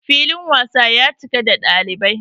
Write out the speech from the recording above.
filin wasa ya cika da dalibai